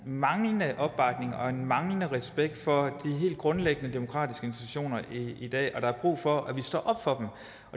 en manglende opbakning til og manglende respekt for de helt grundlæggende demokratiske institutioner i dag og at der er brug for at vi står op for